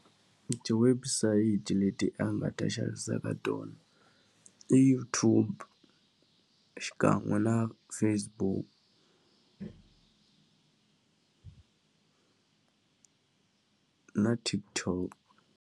Ti-website leti a nga ta xavisa ka tona i YouTube xinkan'we na Facebook na TikTok.